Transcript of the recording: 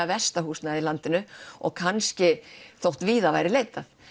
versta húsnæðið í landinu og kannski þó víða væri leitað